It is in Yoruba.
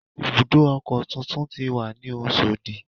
Ibùdó ọkọ̀ tuntun ti wà ní Oṣòdì